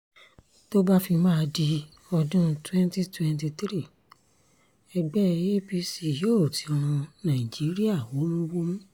tó bá fi máa di ọdún 2023 ẹgbẹ́ apc yóò ti rún nàìjíríà wómúwómú